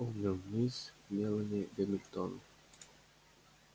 вспомнил мисс мелани гамильтон